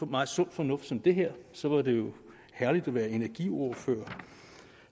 meget sund fornuft som det her så var det jo herligt at være energiordfører